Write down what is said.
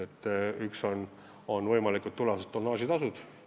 Esiteks, võimalikud tulevased tonnaažitasud.